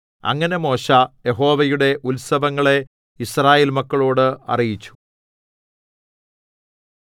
അങ്ങനെ മോശെ യഹോവയുടെ ഉത്സവങ്ങളെ യിസ്രായേൽ മക്കളോട് അറിയിച്ചു